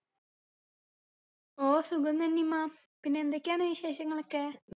ഓ സുഖം നനിമ്മ പിന്നെ എന്തൊക്കെയാണ് വിശേഷങ്ങളൊക്കെ